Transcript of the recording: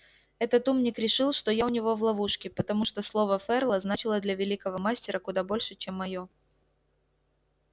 этот умник решил что я у него в ловушке потому что слово ферла значило для великого мастера куда больше чем моё